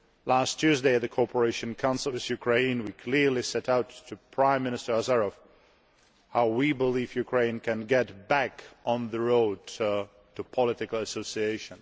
Last Tuesday, at the Cooperation Council with Ukraine, we clearly set out to Prime Minister Azarov how we believe Ukraine can get back on the road to political association.